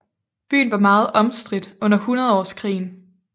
Byen var meget omstridt under Hundredårskrigen